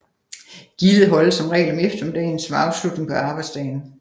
Gildet holdes som regel om eftermiddagen som afslutning på arbejdsdagen